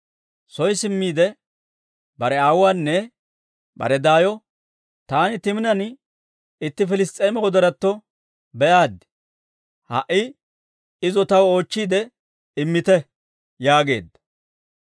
Soy simmiide bare aawuwaanne bare daayo, «Taani Timinan itti Piliss's'eema wodoratto be'aaddi; ha"i izo taw oochchiide immite» yaageedda.